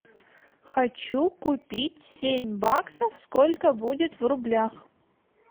хочу купить семь баксов сколько будет в рублях